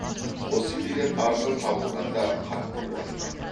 осы билет арзан табылғанда қатты қуандым